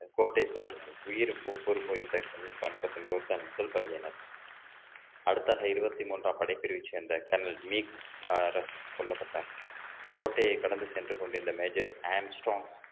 கோட்டை சார்ந்த உயிர் பொறுப்பு வைத்த என்பவர்தான் முதல் பலியினர் அடுத்ததாக இருபத்தி மூன்றாம் படைப்பிரிவைச் சேர்ந்த கர்னல் மீக் அரசு கொல்லப்பட்டார் கோட்டையை கடந்து சென்று கொண்டிருந்த major ஆம்ஸ்ட்ரோங்